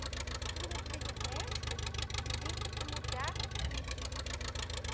Todo mundo que vive em médicos, vive para mudar